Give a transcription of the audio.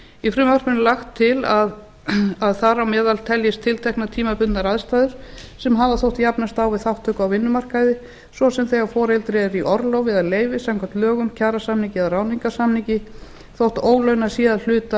í frumvarpinu er lagt til að þar á meðal teljist tiltekna tímabundnar aðstæður sem hafa þótt jafnast á við þátttöku á vinnumarkaði svo sem þegar foreldri er í orlofi eða leyfi samkvæmt lögum kjarasamningi eða ráðningarsamningi þótt ólaunað sé að hluta